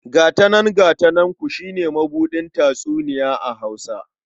Gata nan gata nanku shi ne mabuɗin tatsuniya a Hausa..